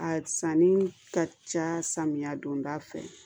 A sanni ka ca samiya don da fɛ